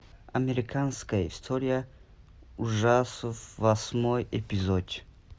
американская история ужасов восьмой эпизод